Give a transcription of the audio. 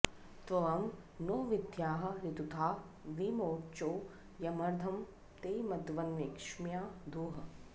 त्वं नो॑ वि॒द्वाँ ऋ॑तु॒था वि वो॑चो॒ यमर्धं॑ ते मघवन्क्षे॒म्या धूः